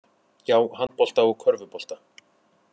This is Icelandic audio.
Já, handbolta og körfubolta.